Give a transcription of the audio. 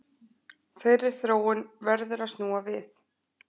Þeirri þróun verður að snúa við